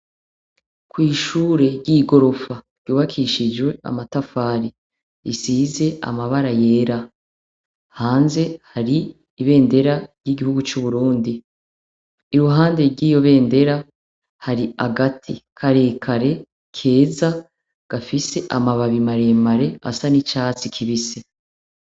Kw'ishure ry'igorofa ryubakishijwe amatafari, isize amabara yera hanze hari ibendera y'igihugu c'Uburundi, iruhande ry'iyo bendera hari agati karekare keza gafise amababi maremare asa n'icatsi kibisi.